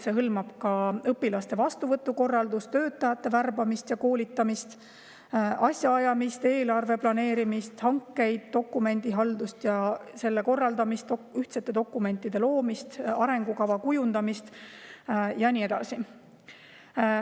See hõlmab ka õpilaste vastuvõtu korraldust, töötajate värbamist ja koolitamist, asjaajamist, eelarve planeerimist, hankeid, dokumendihaldust ja selle korraldamist, ühtsete dokumentide loomist, arengukava kujundamist ja nii edasi.